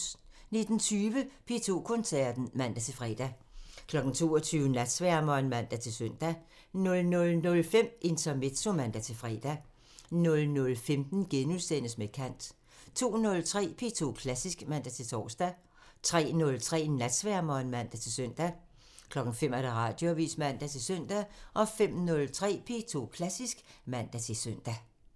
19:20: P2 Koncerten (man-fre) 22:00: Natsværmeren (man-søn) 00:05: Intermezzo (man-fre) 00:15: Med kant *(man) 02:03: P2 Klassisk (man-tor) 03:03: Natsværmeren (man-søn) 05:00: Radioavisen (man-søn) 05:03: P2 Klassisk (man-søn)